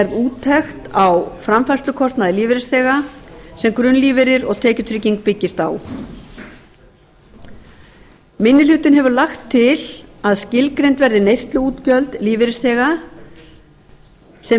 úttekt á framfærslukostnaði lífeyrisþega sem grunnlífeyrir og tekjutrygging byggist á minni hlutinn hefur lagt til að skilgreind verði neysluútgjöld lífeyrisþega sem